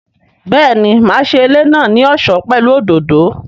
Béèni, máa ṣe ilé náà ní ọ̀ṣọ́ pẹ̀lú òdòdó